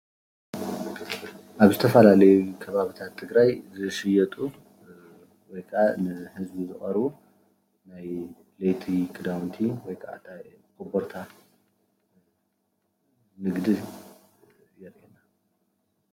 ኣብ ዝተፈላለዩ ከባቢታት ትግራይ ዝሽየጡ ወይ ከዓ ንህዝቢ ዝቀርቡ ናይ ለይቲ ክዳውነቲ ወይ ከዓ ኮቦርታ ንግዲ።